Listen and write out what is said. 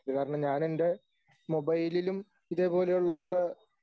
കാരണം ഞാനെൻ്റെ മൊബൈലിലും ഇതേപോലെയുള്ള